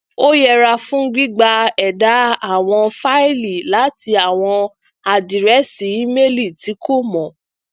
ó yẹra fun gbigba eda awọn faili láti àwọn àdírẹsì imeili tí kò mọ